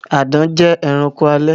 Àdán jẹ ẹranko alè.